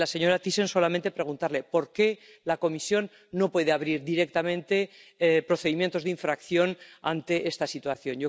Y a la señora Thyssen, quisiera solamente preguntarle por qué la Comisión no puede abrir directamente procedimientos de infracción ante esta situación.